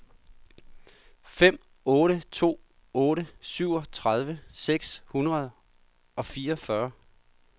fem otte to otte syvogtredive seks hundrede og fireogfyrre